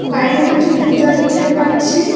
বাইরে কিছু জুতা দেখতে পাচ্ছি।